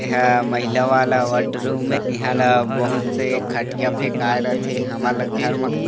ऐ हा महिला वाला वार्ड रूम है इहा ला बहुत से खटिया फेकाय रथे हमन ला घर मा--